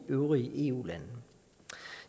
øvrige eu lande